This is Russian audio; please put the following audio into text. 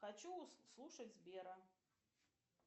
хочу слушать сбера